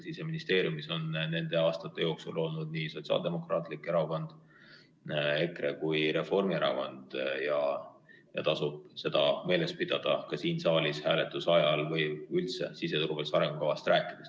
Siseministeeriumis on nende aastate jooksul olnud nii Sotsiaaldemokraatlik Erakond, EKRE kui ka Reformierakond ja seda tasub meeles pidada ka siin saalis hääletuse ajal või üldse siseturvalisuse arengukavast rääkides.